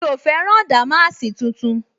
Mi ò fẹ́ rán dàmáàsì tuntun